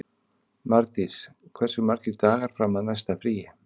Mardís, hversu margir dagar fram að næsta fríi?